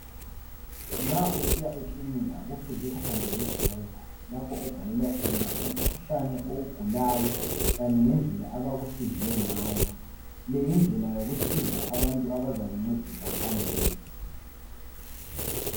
Nxa usiya ekilinika kufuze ufambe lebhuku lapho obhalelwa khona ukhuhlane oyugulayo, kanye lendlela abakusize ngayo. Leyindlela yokusiza abantu abazakuncedisa phambili.